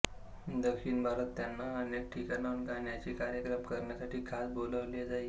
दक्षिण भारतात त्यांना अनेक ठिकाणांहून गाण्याचे कार्यक्रम करण्यासाठी खास बोलाविले जाई